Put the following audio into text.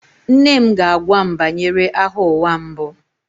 Nne m ga-agwa m banyere Agha Ụwa Mbụ